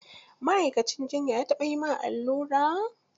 Ma'aikacin jiyya ya taɓa yi ma allura?